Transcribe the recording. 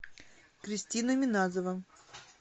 кристина миназова